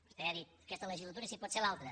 vostè ha dit aquesta legislatura i si pot ser l’altra